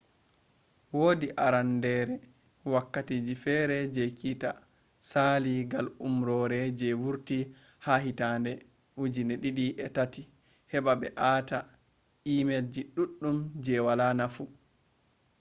wodi arandere wakati feere je kitta sali gal umrore je wurti ha hittande 2003 heɓa ɓe aata emelji ɗuɗɗum je wala nafu